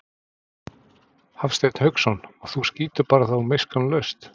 Hafsteinn Hauksson: Og þú skýtur þá bara miskunnarlaust?